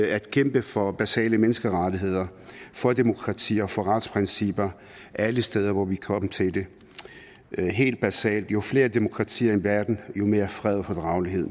at kæmpe for basale menneskerettigheder for demokrati og for retsprincipper alle steder hvor vi kan komme til det helt basalt jo flere demokratier i verden jo mere fred